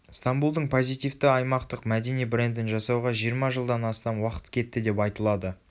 стамбулдың позитивті аймақтық мәдени брендін жасауға жиырма жылдан астам уақыт кетті депайтылады